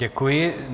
Děkuji.